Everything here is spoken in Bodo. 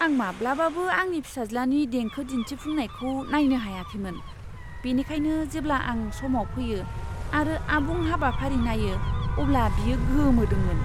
आं माब्लाबाबो आंनि फिसाज्लानि देंखो दिन्थिफुंनायखौ नायनो हायाखैमोन, बेनिखायनो जेब्ला आं समाव फैयो आरो आबुं हाबाफारि नायो अब्ला बियो गोमोदोंमोन।